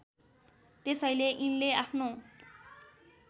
त्यसैले यिनले आफ्नो